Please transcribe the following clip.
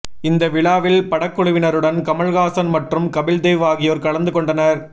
இந்த விழாவில் படக்குழுவினருடன் கமல்ஹாசன் மற்றும் கபில்தேவ் ஆகியோர் கலந்து கொண்டனர்